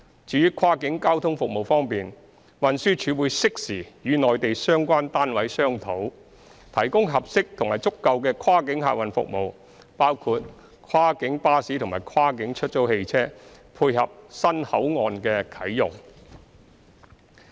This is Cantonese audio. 至於跨境交通服務方面，運輸署會適時與內地相關單位商討，提供合適及足夠的跨境客運服務，包括跨境巴士及跨境出租汽車，配合新口岸的啟用。